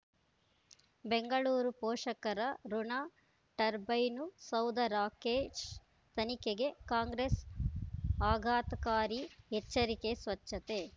ಬೆಂಗಳೂರು ಪೋಷಕರಋಣ ಟರ್ಬೈನು ಸೌಧ ರಾಕೇಶ್ ತನಿಖೆಗೆ ಕಾಂಗ್ರೆಸ್ ಆಘಾತಕಾರಿ ಎಚ್ಚರಿಕೆ ಸ್ವಚ್ಛತೆ